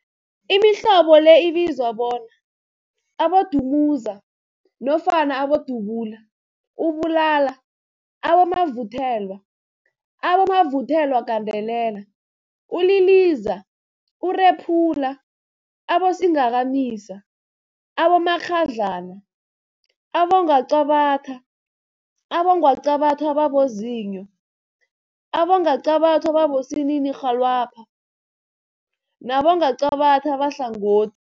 Imihlobo le ibizwa bona, Abodumuza nofana Abodubula, ububula, abomavuthelwa, abomavuthelwagandelela, uliliza, urephula, abosingakamisa, abomakghadlana, abongwaqabathwa, abongwaqabathwa ababozinyo, abongwaqabathwa abosininirhwalabha nabongwaqabatha abahlango